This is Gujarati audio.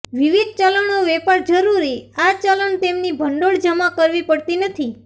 વિવિધ ચલણો વેપાર જરૂરી આ ચલણ તેમની ભંડોળ જમા કરવી પડતી નથી